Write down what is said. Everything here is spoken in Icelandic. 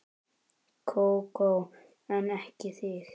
Kókó en ekki þig.